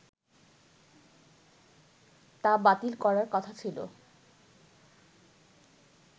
তা বাতিল করার কথা ছিল